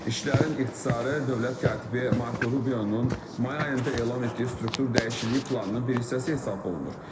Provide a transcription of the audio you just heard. İşçilərin ixtisarı dövlət katibi Marco Rubionun may ayında elan etdiyi struktur dəyişikliyi planının bir hissəsi hesab olunur.